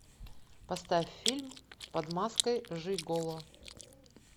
поставь фильм под маской жиголо